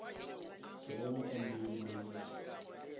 ke bona on daily basis